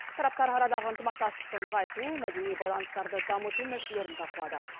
тараптар арадағы ынтымақтастықты нығайту мәдени байланыстарды дамыту мәселелерін талқылады